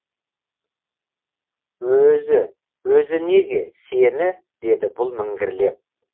өзі өзі неге сені деді бұл міңгірлеп